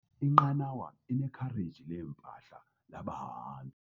Inqanawa inekhareji leempahla labahambi.